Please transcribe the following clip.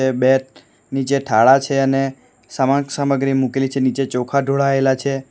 બે નીચે થાળા છે અને સામાન સામગ્રી મૂકેલી છે નીચે ચોખા ઢોળાયેલા છે.